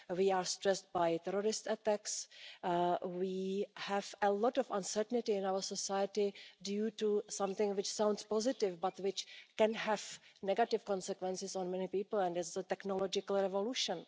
We are stressed by terrorist attacks, we have a lot of uncertainty in our society due to something which sounds positive but which can have negative consequences on many people and that is the technological revolution.